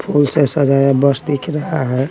फूल से सजाया बस दिख रहा हैं।